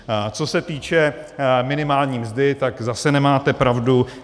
Co se týče minimální mzdy, tak zase nemáte pravdu.